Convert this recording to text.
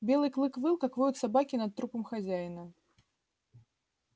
белый клык выл как воют собаки над трупом хозяина